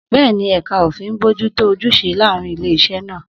Bẹ́ẹ̀ni, ẹ̀ka òfin ń bójú tó ojúṣe láàárín ilé-iṣẹ́ náà.